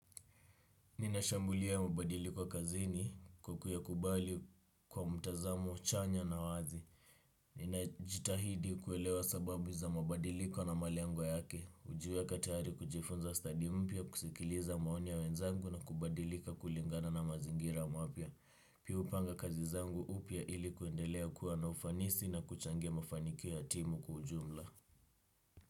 Ninashambulia mabadiliko kazini kwa kuyakubali kwa mtazamo chanya na wazi. Ninajitahidi kuelewa sababu za mabadiliko na malengo yake. Hujiweka tayari kujifunza stadi mpya, kusikiliza maoni ya wenzangu na kubadilika kulingana na mazingira mapya. Pia hupanga kazi zangu upya ili kuendelea kuwa na ufanisi na kuchangia mafanikio ya timu kwa ujumla.